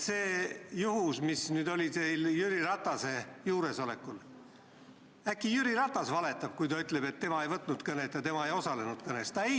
See, mis juhtus teil Jüri Ratase juuresolekul – äkki Jüri Ratas valetab, kui ta ütleb, et tema ei teinud seda kõnet ja tema ei osalenud selles kõnes?